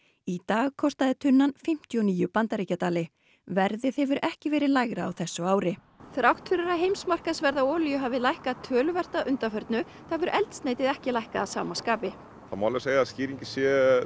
í dag kostaði tunnan fimmtíu og níu bandaríkjadali verðið hefur ekki verið lægra á þessu ári þrátt fyrir að heimsmarkaðsverð á olíu hafi lækkað töluvert að undanförnu hefur eldsneytisverð ekki lækkað að sama skapi það má segja að skýringin sé